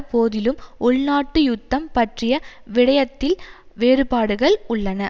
போதிலும் உள்நாட்டு யுத்தம் பற்றிய விடயத்தில் வேறுபாடுகள் உள்ளன